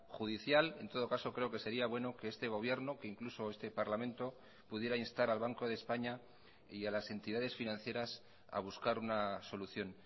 judicial en todo caso creo que sería bueno que este gobierno que incluso este parlamento pudiera instar al banco de españa y a las entidades financieras a buscar una solución